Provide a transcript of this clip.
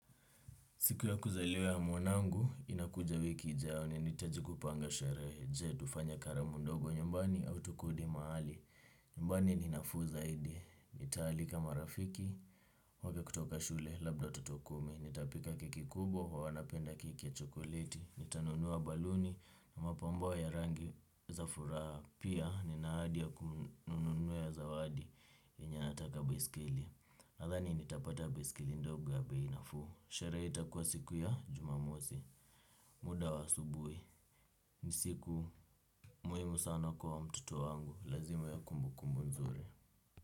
Siku ya kuzaliwa ya mwanangu, inakuja wiki ijayo ninitaji kupanga sharehe je tufanye karamundogo nyumbani au tukodi mahali. Nyumbani ni nafuu zaidi. Nitaalika marafiki, wale kutoka shule, labda watato kumi, nitapika keki kubwa, wanapenda keki ya chokoleti, nitanunua baluni, mapambo ya rangi za furaha, pia ninaahadi ya kununua zawadi enye anaataka baiskeli. Nathani nitapata baisikeli ndogo ya bei nafuu. Sherehe itakuwa siku ya jumamosi. Muda wa asubuhi ni siku muhimu sana kwa mtoto wangu. Lazima ya kumbu kumbu nzuri.